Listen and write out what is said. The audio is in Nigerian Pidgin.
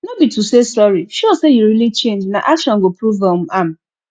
no be to say sorry show say you really change na action go prove um am